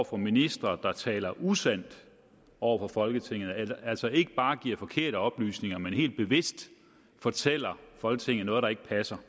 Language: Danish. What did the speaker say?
for ministre der taler usandt over for folketinget altså ikke bare giver forkerte oplysninger men helt bevidst fortæller folketinget noget der ikke passer